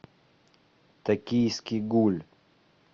токийский гуль